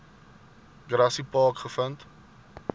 grassy park gevind